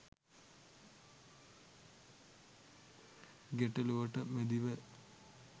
ගැටළුවට මැදිව